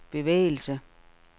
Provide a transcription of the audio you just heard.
bevægelse